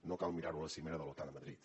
no cal mirar ho a la cimera de l’otan a madrid